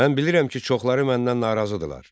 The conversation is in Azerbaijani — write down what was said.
Mən bilirəm ki, çoxları məndən narazıdırlar.